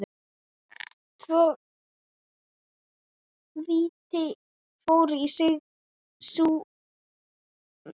Tvö víti fóru í súginn.